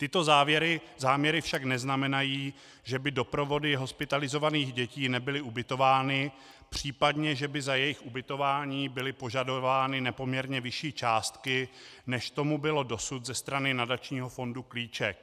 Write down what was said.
Tyto záměry však neznamenají, že by doprovody hospitalizovaných dětí nebyly ubytovány, případně že by za jejich ubytování byly požadovány nepoměrně vyšší částky, než tomu bylo dosud ze strany nadačního fondu Klíček.